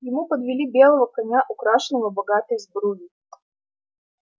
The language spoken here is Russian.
ему подвели белого коня украшенного богатой сбруей